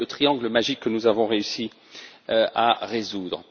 C'est le triangle magique que nous avons réussi à résoudre.